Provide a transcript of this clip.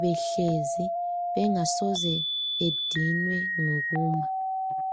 behlezi bengasoze bedinwe ngokuma.